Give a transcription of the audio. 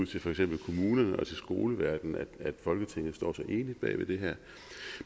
til for eksempel kommunerne og skoleverdenen at folketinget står så enigt bag det her